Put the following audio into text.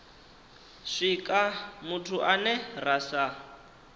swika muthu ane ra sa